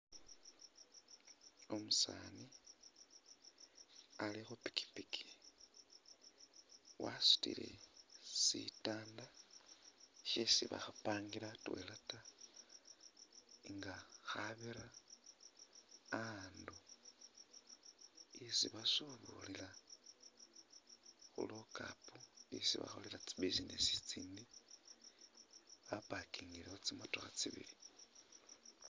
Umusaani ali khupikipiki wasutile sitanda shesi bakhapangila atwela nga khabira a'andu esi basubulila khulokapu esi bakholela tsi businesi itsindi, bapakingilewo tsimatokha tsibili.